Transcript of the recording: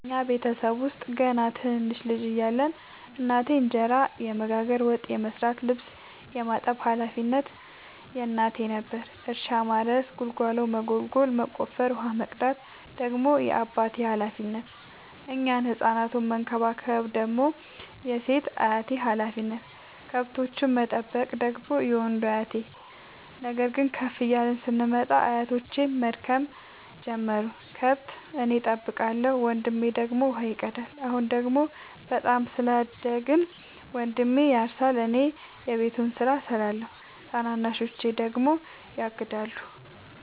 እኛ ቤተሰብ ውስጥ ገና ትንንሽ ልጅ እያለን እናቴ እንጀራ የመጋገር፤ ወጥ የመስራት ልብስ የማጠብ ሀላፊነቱ የእናቴ ነበረ። እርሻ ማረስ ጉልጎሎ መጎልጎል መቆፈር፣ ውሃ መቅዳት ደግሞ የአባቴ ሀላፊነት፤ እኛን ህፃናቱን መከባከብ ደግሞ የሴት አያቴ ሀላፊነት፣ ከብቶቹን መጠበቅ ደግሞ የወንዱ አያቴ። ነገር ግን ከፍ እያልን ስንመጣ አያቶቼም መድከም ጀመሩ ከብት እኔ ጠብቃለሁ። ወንድሜ ደግሞ ውሃ ይቀዳል። አሁን ደግሞ በጣም ስላደግን መንድሜ ያርሳ እኔ የቤቱን ስራ እሰራለሁ ታናናሾቼ ደግሞ ያግዳሉ።